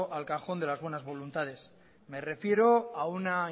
al cajón de las buenas voluntades me refiero a una